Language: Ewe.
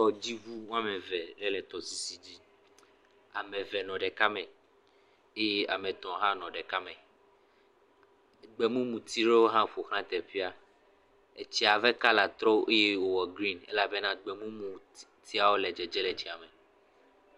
Tɔdziŋu am eve ee tɔsisi dzi. Ame ve nɔ ɖeka me. Eye ame tɔ̃ hã nɔ ɖeka me. Gbemumuti ɖewo hã ƒoʋlã teƒea. Etsia ƒe kala trɔ eye wòwɔ grini elabena gbemumutiawo le dzedze le tsiame.